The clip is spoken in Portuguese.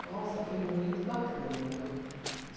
Nossa, foi muito bacana.